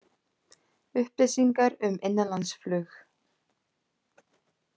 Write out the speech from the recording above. Upplýsingar um innanlandsflug